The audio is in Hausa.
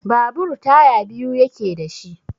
Babur taya biyu yake da shi.